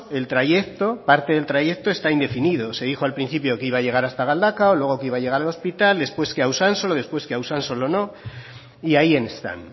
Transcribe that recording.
el trayecto parte del trayecto está indefinido se dijo al principio que iba a llegar hasta galdakao luego que iba a llegar al hospital después que a usansolo después que a usansolo no y ahí están